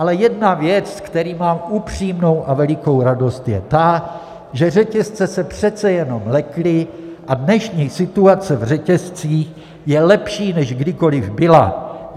Ale jedna věc, ze které mám upřímnou a velikou radost, je ta, že řetězce se přece jenom lekly a dnešní situace v řetězcích je lepší, než kdykoli byla.